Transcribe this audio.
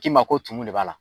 K'i ma ko tunu de b'a la